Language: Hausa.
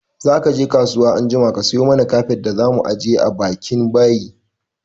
Zaka je kasuwa anjima ka sayi mana kafet da zamu ajiye bakin bayi!